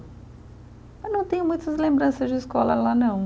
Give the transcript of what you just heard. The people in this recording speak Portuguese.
Eu não tenho muitas lembranças de escola lá, não.